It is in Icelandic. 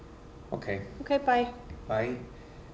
ókei ókei bæ bæ